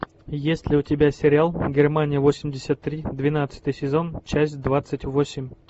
есть ли у тебя сериал германия восемьдесят три двенадцатый сезон часть двадцать восемь